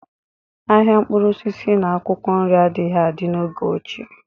Ahịa mkpụrụ osisi na akwụkwọ nri adịghị adị n'oge ochie